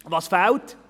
Was fehlt?